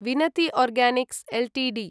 Vinati organics Ltd